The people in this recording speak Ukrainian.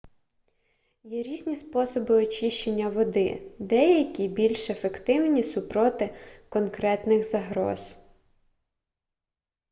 є різні способи очищення води деякі більш ефективні супроти конкретних загроз